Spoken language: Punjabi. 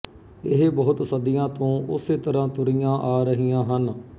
ਇਹ ਬਹੁਤ ਸਦੀਆਂ ਤੋਂ ਉਸੇ ਤਰ੍ਹਾਂ ਤੁਰੀਆਂ ਆ ਰਹੀਆਂ ਹਨ